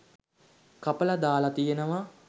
කපලා දාලා තියෙනවා.